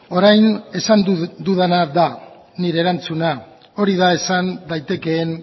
orain esan dudana da nire erantzuna hori da esan daitekeen